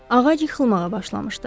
Ağac yıxılmağa başlamışdı.